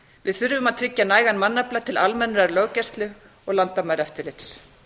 við þurfum að tryggja nægan mannafla til almennrar löggæslu og landamæraeftirlit